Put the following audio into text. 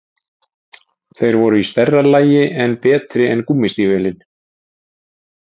Þeir voru í stærra lagi en betri en gúmmí- stígvélin.